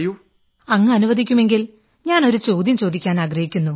അങ്ങനുവദിക്കുമെങ്കിൽ ഞാൻ ഒരു ചോദ്യം ചോദിക്കാനാഗ്രഹിക്കുന്നു